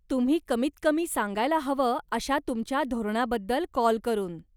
तुम्ही कमीतकमी सांगायला हवं अशा तुमच्या धोरणाबद्दल कॉल करून.